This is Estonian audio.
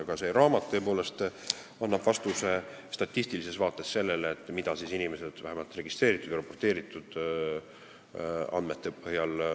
Aga see raamat annab statistilises vaates vastuse sellele, mida õigust rikkuvat inimesed Eestis tegid, vähemalt registreeritud ja raporteeritud andmete põhjal.